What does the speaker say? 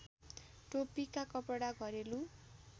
टोपीका कपडा घरेलु